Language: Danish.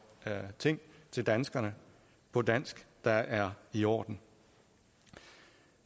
ting til danskerne på dansk der er i orden